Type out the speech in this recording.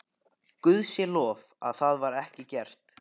Guði sé lof að það var ekki gert.